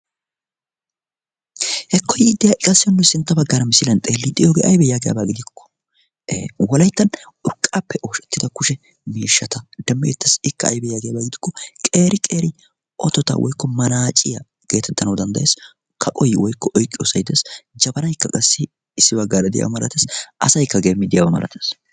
hekko yiiddiyaa iqassiyonnui sintta baggaara misiilian xeelli diyoogee aibee yaagiyaabaa gidiokko wolaittan urqqaappe ooshettida kushe miishshata dammi eettassi ikka aybe yaagiyaabaa gidukko qeeri qeri otota woykko manaaciyaa geetettanawu danddayees kaqoy woykko oiqqiyoo sai dees jabaraikka qassi issi baggaara diyaa maratees asaykka geemmi diyaawa malattees.